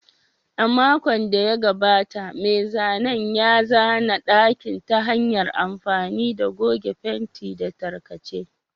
A makon da ya gabata, mai zanen ya zana ɗakin ta hanyar amfani da goge fenti da tarkace.